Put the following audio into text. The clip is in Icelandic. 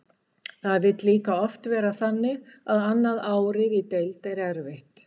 Það vill líka oft vera þannig að annað árið í deild er erfitt.